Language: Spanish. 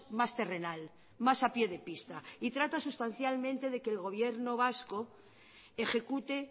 más terrenal más a pie de pista trata sustancialmente de que el gobierno vasco ejecute